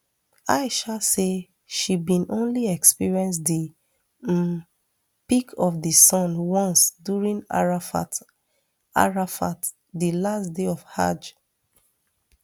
aisha say she bin only experience di um peak of di sun once during arafat arafat di last day of hajj